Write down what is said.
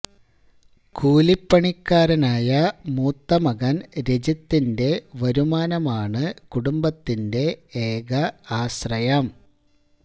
കൂലിപ്പണിക്കാരനായ മൂത്ത മകൻ രജിത്തിന്റെ വരുമാനമാണ് കുടുംബത്തിന്റെ ഏക ആശ്രയം